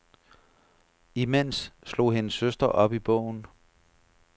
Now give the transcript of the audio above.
Imens slog hendes søster op i bogen.